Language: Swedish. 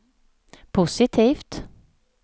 positivt